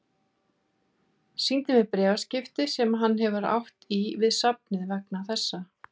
Sýndi mér bréfaskipti sem hann hefur átt í við safnið vegna þessa.